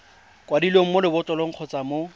kwadilweng mo lebotlolong kgotsa mo